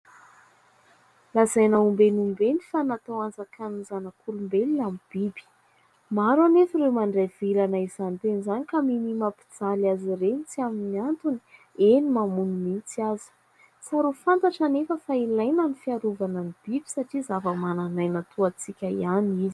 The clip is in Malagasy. lazaina ombeny ombeny fa natao anjakan'ny zanak'olombelona ny biby maro anefa ireo mandray vilana izany teny izany ka minia mampijaly azy ireny tsy amin'ny antony eny mamono mihitsy aza tsara ho fantatra anefa fa ilaina ny fiarovana ny biby satria zava-manan'aina toa antsika ihany izy